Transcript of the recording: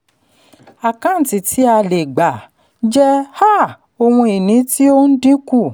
àkáǹtí ti a le gbà jẹ́ um ohun ìní tí o ń dínkù.